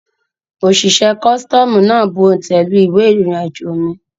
Òṣìṣẹ́ costoomu náà bù òntẹ̀ lu ìwé irinajo mi